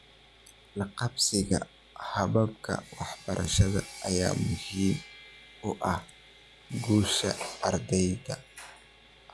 La qabsiga hababka waxbarida ayaa muhiim u ah guusha ardayga.